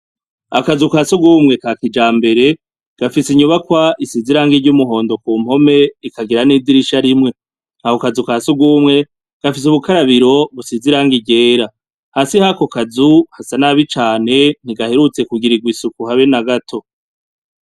Akazu kasugumwe kakijambere ,gafise inyubakwa isize irangi ry'umuhondo kuruhome ikagira nidirisha rimwe akokazu ka sugumwe gafise ubukarabiro businze irangi ryera, hasi yakokazu hasa nabi cane hadaherutse kugirirwa isuku habe nagato.